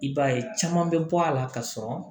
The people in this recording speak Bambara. I b'a ye caman bɛ bɔ a la ka sɔrɔ